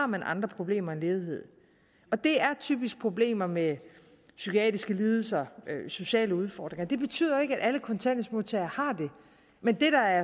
man har andre problemer end ledighed det er typisk problemer med psykiatriske lidelser sociale udfordringer det betyder ikke at alle kontanthjælpsmodtagere har det men det der